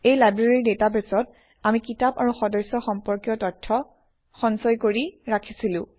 এই লাইব্ৰেৰী ডাটাবেছত আমি কিতাপ আৰু সদস্য সম্পৰ্কীয় তথ্য সঞ্চয় কৰি ৰাখিছিলো